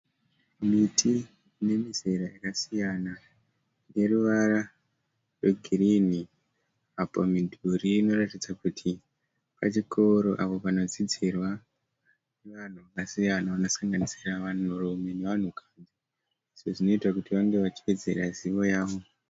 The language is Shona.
Miti ine mizera yakasiyana ine ruvara rwegirinhi. Apo midhuri inoratidza kuti pachikoro apo panodzidzirwa nevanhu vakasiyana vanosanganisira vanhurume nevanhukadzi izvo zvinoita kuti vange vachiwedzera zivo yavo.